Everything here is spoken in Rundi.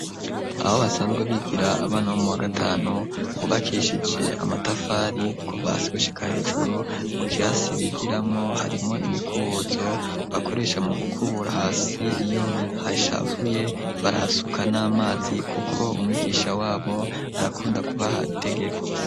Abo basanzwe bigira abana bo mu wa gatanu hubakishije amatafari ku vasigushika hejuru mu kirasi bigiramwo harimwo imikuzo bakoresha mu gukubura hasi iyo hashafuye barahasuka n'amazi, kuko umwigisha wabo arakunda kubaha itegeko.